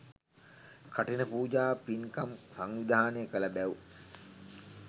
කඨින පූජා පින්කම් සංවිධානය කළ බැව්